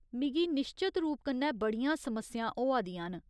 मिगी निश्चत रूप कन्नै बड़ियां समस्यां होआ दियां न।